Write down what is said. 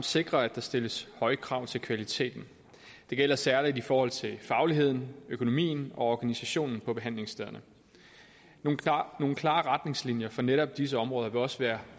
sikre at der stilles høje krav til kvaliteten det gælder særlig i forhold til fagligheden økonomien og organisationen på behandlingsstederne nogle klare retningslinjer for netop disse områder vil også være